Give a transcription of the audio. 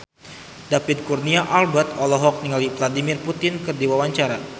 David Kurnia Albert olohok ningali Vladimir Putin keur diwawancara